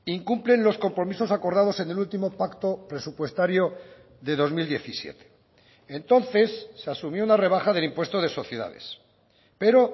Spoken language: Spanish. incumplen los compromisos acordados en el último pacto presupuestario de dos mil diecisiete entonces se asumió la rebaja del impuesto de sociedades pero